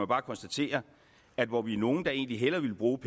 bare konstatere at hvor vi er nogle der egentlig hellere ville bruge